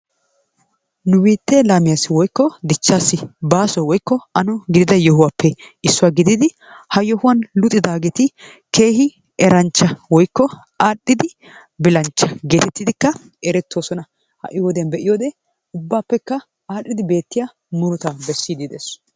Nu bittee lamiyassi woyko dichasi baso woyko anno gididaa yohuwappee issuwaa gididi ha yohuwan luxxidagetti kehi erannchaa woyko arhidaa bilanchaa gettetidi ereetosonna, hai wodiyan be'iyode ubaappekaa arhidi bettiyaa muruttaa shishidi dees.